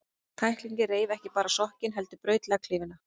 Tæklingin reif ekki bara sokkinn, heldur braut legghlífina.